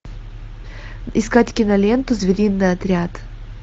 искать киноленту звериный отряд